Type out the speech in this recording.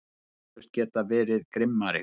Hefði eflaust getað verið grimmari.